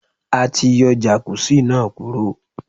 A ti yọ Jàkúzì náà kúrò.